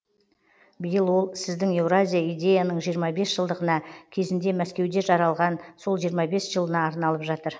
биыл ол сіздің еуразия идеяның жиырма бес жылдығына кезінде мәскеуде жаралған сол жиырма бес жылына арналып жатыр